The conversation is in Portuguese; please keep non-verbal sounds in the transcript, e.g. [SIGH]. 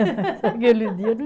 [LAUGHS] Aquele dia não